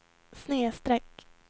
snedsträck